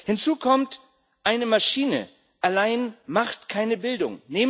Hinzu kommt Eine Maschine allein macht keine Bildung.